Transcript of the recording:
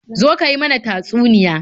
Zo ka yi mana tatsuniya.